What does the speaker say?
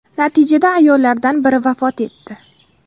Natijada ayollardan biri vafot etdi.